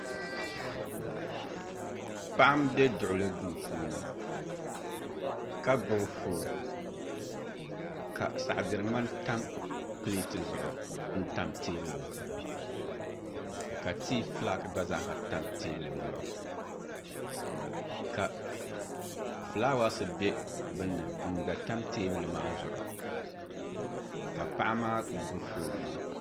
Paɣa n bɛ duɣuli duu puuni ka gbubi foon ka saɣi diri ŋmani tam pileet zuɣu n tam teebuli zuɣu ka tii fulaaki gba tam teebuli zuɣu ka fulaawaasi bɛ bunni n gba tam teebuli maa zuɣu ka paɣa maa gbubi foon maa